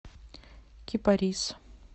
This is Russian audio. кипарис